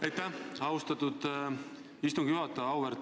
Aitäh, austatud istungi juhataja!